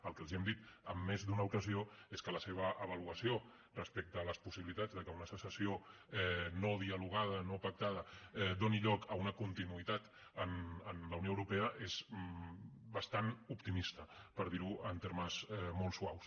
el que els hem dit en més d’una ocasió és que la seva avaluació respecte a les possibilitats que una secessió no dialogada no pactada doni lloc a una continuïtat en la unió europea és bastant optimista per dir ho en termes molt suaus